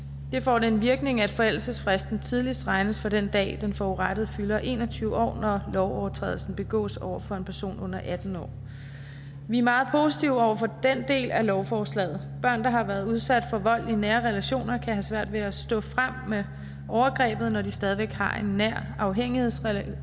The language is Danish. det får den virkning at forældelsesfristen tidligst regnes fra den dag den forurettede fylder en og tyve år når lovovertrædelsen begås over for en person under atten år vi er meget positive over for den del af lovforslaget børn der har været udsat for vold i nære relationer kan have svært ved at stå frem med overgrebet når de stadig væk har en nær afhængighedsrelation